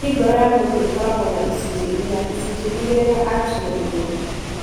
Kaingĩ ngoro ya mũndũ ĩkoragwo na icunjĩ inya, icunjĩ igĩrĩ na atria igĩrĩ.